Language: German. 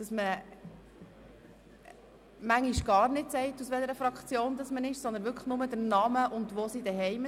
Es gibt Orte, wo man manchmal nur Namen und Wohngemeinde nennt und gar nicht sagt, welcher Fraktion jemand angehört.